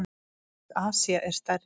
Aðeins Asía er stærri.